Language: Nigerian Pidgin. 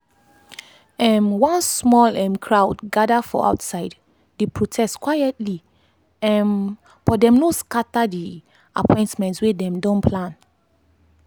um one small um crowd gather for outside dey protest quietly um but dem no scatter the appointments wey dem don plan.